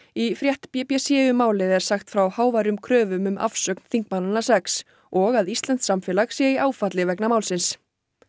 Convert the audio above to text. í frétt b b c um málið er sagt frá háværum kröfum um afsögn þingmannanna sex og að íslenskt samfélag sé í áfalli vegna málsins